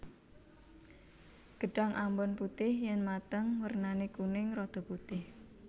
Gedhang ambon putih yen mateng wernane kuning rada putih